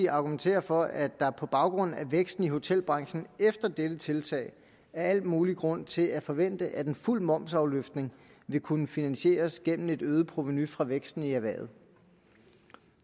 argumenterer for at der på baggrund af væksten i hotelbranchen efter dette tiltag er al mulig grund til at forvente at en fuld momsafløftning vil kunne finansieres gennem et øget provenu fra væksten i erhvervet